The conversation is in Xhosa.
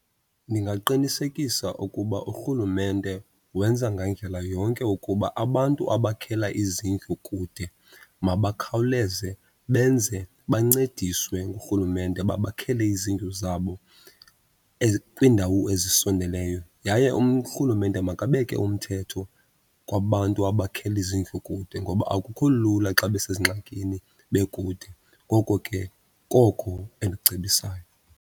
Ndingaqinisekisa ukuba urhulumente wenza ngandlela yonke ukuba abantu abakhela izindlu kude mabakhawuleze benze bancediswe ngurhulumente babakhele izindlu zabo kwiindawo ezisondeleyo. Yaye urhulumente makabeke umthetho kwabantu abakhela izindlu kude ngoba akukho lula xa besezingxakini bekude. Ngoko ke koko endikucebisayo.